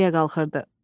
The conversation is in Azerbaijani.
Yol təpəyə qalxırdı.